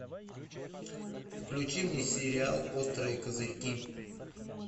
включи мне сериал острые козырьки